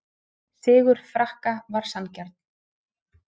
Sigur Frakka var sanngjarn